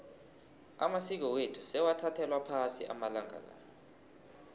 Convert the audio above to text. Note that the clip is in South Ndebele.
amasiko wethu sewathathelwa phasi amalanga la